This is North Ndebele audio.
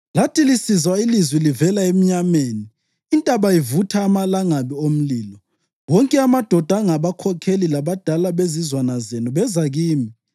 Lathi lisizwa ilizwi livela emnyameni, intaba ivutha amalangabi omlilo, wonke amadoda angabakhokheli labadala bezizwana zenu beza kimi.